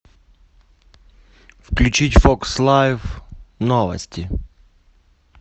включить фокс лайф новости